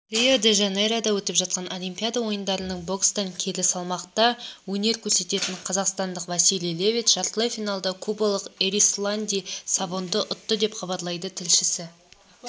рио-де-жанейрода өтіп жатқан олимпиада ойындарында бокстан келі салмақта өнер көрсететін қазақстандық василий левит жартылай финалда кубалықэрисланди савонды ұтты деп хабарлайды тілшісі